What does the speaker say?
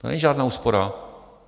To není žádná úspora.